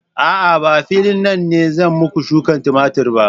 A'a, ba a filin nan ne za mu shuka tumatur ba.